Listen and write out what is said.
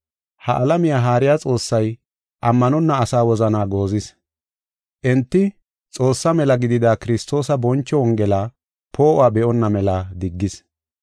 Ha alamiya haariya xoossay ammanonna asaa wozanaa goozis. Enti Xoossaa mela gidida Kiristoosa boncho Wongela poo7uwa be7onna mela diggis.